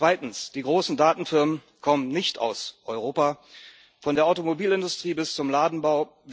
Zweitens Die großen Datenfirmen kommen nicht aus Europa von der Automobilindustrie bis zum Ladenbau.